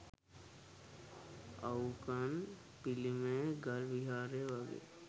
අවුකන් පිළිමය ගල් විහාරය වගේ